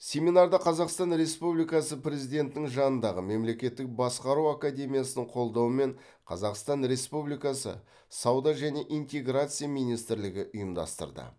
семинарды қазақстан республикасы президентінің жанындағы мемлекеттік басқару академиясының қолдауымен қазақстан республикасы сауда және интеграция министрлігі ұйымдастырды